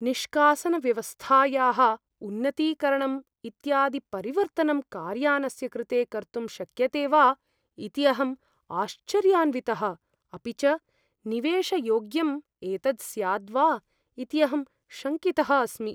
निष्कासनव्यवस्थायाः उन्नतीकरणम् इत्यादि परिवर्तनं कार्यानस्य कृते कर्तुं शक्यते वा इति अहम् आश्चर्यान्वितः, अपि च निवेशयोग्यम् एतत् स्याद् वा इति अहं शङ्कितः अस्मि।